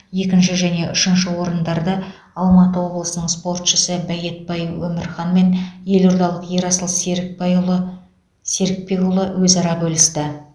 екінші және үшінші орындарды алматы облысының спортшысы байетбай өмірхан мен елордалық ерасыл серікбайұлы серікбекұлы өзара бөлісті